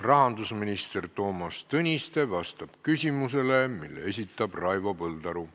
Rahandusminister Toomas Tõniste vastab küsimusele, mille esitab Raivo Põldaru.